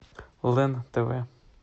лен тв